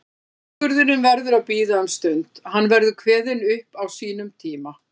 Úrskurðurinn verður að bíða um stund, hann verður kveðinn upp á sínum tíma.